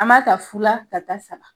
An b'a ta fu la ka taa saba